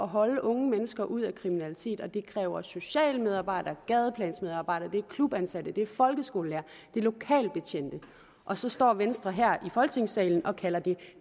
holde unge mennesker ude af kriminalitet og det kræver socialmedarbejdere gadeplansmedarbejdere det er klubansatte det er folkeskolelærere det er lokalbetjente og så står venstre her i folketingssalen og kalder det